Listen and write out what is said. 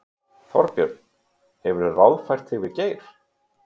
Þorbjörn: Hefurðu ráðfært þig við Geir?